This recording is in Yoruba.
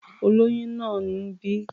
Olóyún náà ń bì.